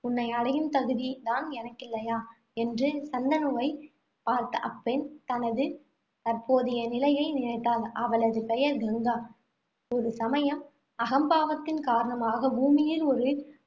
உன்னை அடையும் தகுதி தான் எனக்கில்லையா என்ற சந்தனுவைப் பார்த்த அப்பெண், தனது தற்போதைய நிலையை நினைத்தாள். அவளது பெயர் கங்கா. ஒரு சமயம் அகம்பாவத்தின் காரணமாக, பூமியில் ஒரு